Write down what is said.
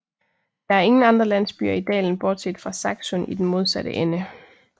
Det er ingen andre landsbyer i dalen bortset fra Saksun i den modsatte ende